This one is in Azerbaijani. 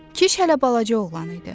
Kiş hələ balaca oğlan idi.